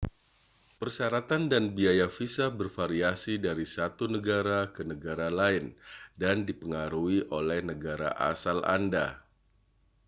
persyaratan dan biaya visa bervariasi dari satu negara ke negara lain dan dipengaruhi oleh negara asal anda